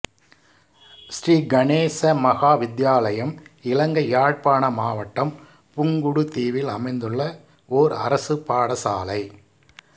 ஸ்ரீ கணேச மகா வித்தியாலயம் இலங்கை யாழ்ப்பாண மாவட்டம் புங்குடுதீவில் அமைந்துள்ள ஓர் அரசுப் பாடசாலை